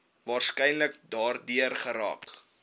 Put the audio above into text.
waarskynlik daardeur geraak